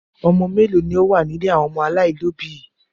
Ọmọ mélòó ni ó wà ní ilé àwọn ọmọ aláìlóòbí yìí?